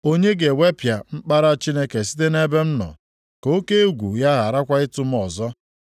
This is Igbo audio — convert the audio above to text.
onye ga-ewepụ mkpara Chineke site nʼebe m nọ, ka oke egwu ya gharakwa ịtụ m ọzọ.